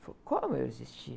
Ele falou, como eu existir?